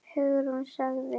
Hugrún sagði